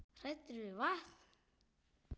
Hræddir við vatn!